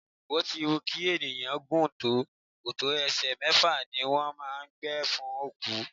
Bó ti wù kí ènìyàn gùn tó, kòtò ẹsẹ mẹ́fà ni wón máa ń gbẹ fún òkú.